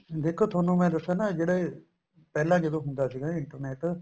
ਦੇਖੋ ਤੁਹਾਨੂੰ ਮੈਂ ਦੱਸਿਆ ਨਾ ਜਿਹੜੇ ਪਹਿਲਾਂ ਜਦੋਂ ਹੁੰਦਾ ਸੀਗਾ internet